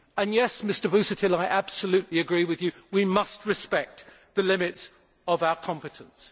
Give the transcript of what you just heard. Yes, Mr Busuttil, I absolutely agree with you that we must respect the limits of our competence.